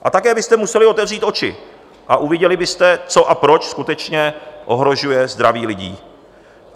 A také byste museli otevřít oči a uviděli byste, co a proč skutečně ohrožuje zdraví lidí.